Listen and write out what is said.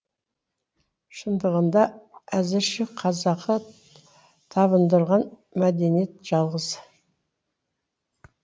шындығында әзірше қазақы табындырған мәдениет жалғыз